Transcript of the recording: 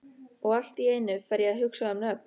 Og allt í einu fer ég að hugsa um nöfn.